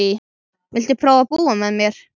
Viltu prófa að búa með mér.